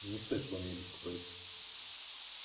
не стоит обо мне беспокоиться